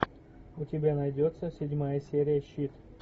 у тебя найдется седьмая серия щит